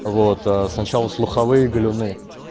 вот аа сначала слуховые галюны